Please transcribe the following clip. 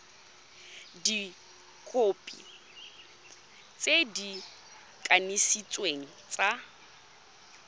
dikhopi tse di kanisitsweng tsa